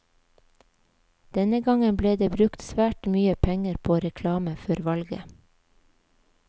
Denne gangen ble det brukt svært mye penger på reklame før valget.